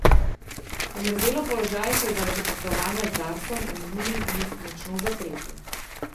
Omerzelov položaj se je zaradi poslovanja z Darsom v minulih dneh močno zatresel.